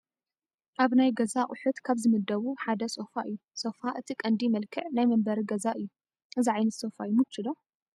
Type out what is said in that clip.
ኣብ ናይ ገዛ ኣቑሑት ካብ ዝምደቡ ሓደ ሶፋ እዩ፡፡ ሶፋ እቲ ቀንዲ መልክዕ ናይ መንበሪ ገዛ እዩ፡፡ እዚ ዓይነት ሶፋ ይምቺ ዶ?